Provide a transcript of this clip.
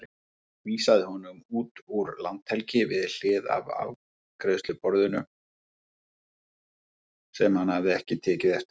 Vísaði honum út úr landhelgi um hlið á afgreiðsluborðinu sem hann hafði ekki tekið eftir.